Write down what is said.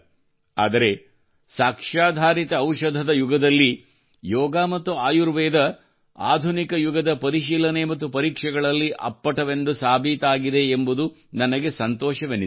ಆದರೆ ಸಾಕ್ಷ್ಯಾಧಾರಿತ ಔಷಧದ ಯುಗದಲ್ಲಿ ಯೋಗ ಮತ್ತು ಆಯುರ್ವೇದವು ಆಧುನಿಕ ಯುಗದ ಪರಿಶೀಲನೆ ಮತ್ತು ಪರೀಕ್ಷೆಗಳಲ್ಲಿ ಅಪ್ಪಟವೆಂದು ಸಾಬೀತಾಗಿದೆ ಎಂಬುದು ನನಗೆ ಸಂತೋಷವೆನಿಸಿದೆ